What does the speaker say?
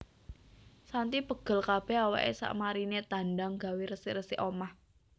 Shanty pegel kabeh awake sakmarine tandang gawe resik resik omah